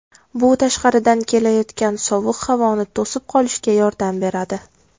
Bu tashqaridan kelayotgan sovuq havoni to‘sib qolishga yordam beradi.